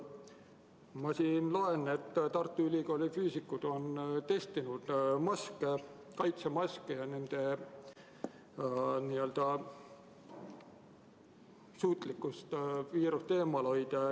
Ma loen, et Tartu Ülikooli füüsikud on testinud kaitsemaske ja nende suutlikkust viirust eemal hoida.